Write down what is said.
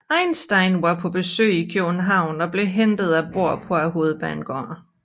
Einstein var på besøg i København og blev hentet af Bohr på Hovedbanegården